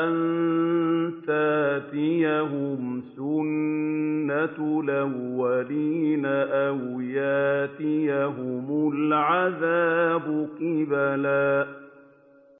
أَن تَأْتِيَهُمْ سُنَّةُ الْأَوَّلِينَ أَوْ يَأْتِيَهُمُ الْعَذَابُ قُبُلًا